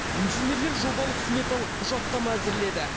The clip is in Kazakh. инженерлер жобалық сметалық құжаттама әзірледі